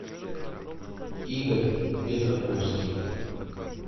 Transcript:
игорь петраковский